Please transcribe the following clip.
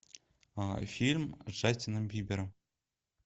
фильм с джастином бибером